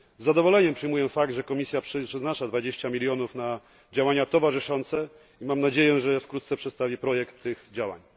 Z zadowoleniem przyjmuję fakt, że Komisja przeznacza 20 mln na działania towarzyszące i mam nadzieję, że wkrótce przedstawi projekt tych działań.